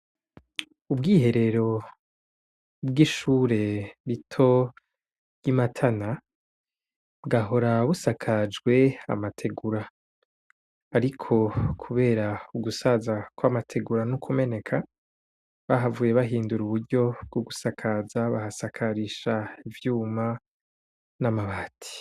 Ubwiherero bw'ishure rito ry'Imatana bwahora busakajwe n'amategura. ariko kubera ugusaza kw'amategura n'ukumeneka bahavuye bahindura uburyo bwogusakaza bahasakarisha ivyuma n'amabati.